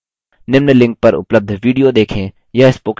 निम्न link पर उपलब्ध video देखें